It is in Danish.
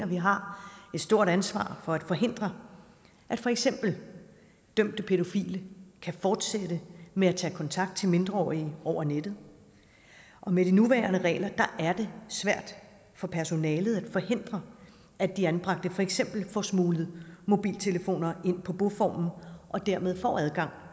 vi har et stort ansvar for at forhindre at for eksempel dømte pædofile kan fortsætte med at tage kontakt til mindreårige over nettet og med de nuværende regler er det svært for personalet at forhindre at de anbragte for eksempel får smuglet mobiltelefoner ind på boformen og dermed får adgang